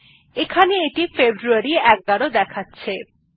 এইটি এখানে ফেব্রুয়ারী ১১ দেখাচ্ছে